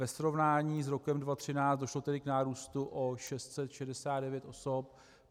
ve srovnání s rokem 2013 došlo tedy k nárůstu o 669 osob.